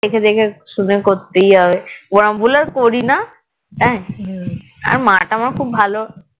ওরম ভুল আর করিনা আর মা তা আমার খুব ভালো